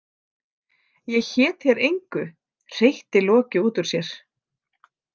Ég hét þér engu, hreytti Loki út úr sér.